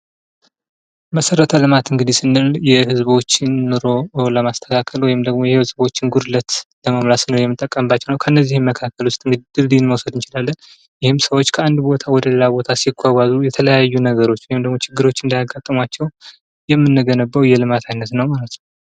መሰረተ ልማት እንግዲህ ስንል የህዝቦችን ኑሮ ለማስተካከል ወይም ደግሞ የህዝቦችን ጉድለት ለመሙላት ስንል የምንጠቀምበት ነው ።ከእነዚህም መካከል ውስጥ እንግዲህ ድልድይ መውሰድ እንችላለን። ይህም ሰዎች ከአንድ ቦታ ወደሌላ ቦታ ሲጓጓዙ የተለያዩ ነገሮች ወይም ደግሞ ችግሮች እንዳይጋጥሟቸው የምንገነባው የልማት አይነት ነው ማለት ነው።